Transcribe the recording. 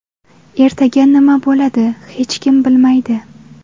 Ertaga nima bo‘ladi, hech kim bilmaydi.